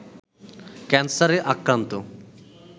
ক্যান্সারে আক্রান্ত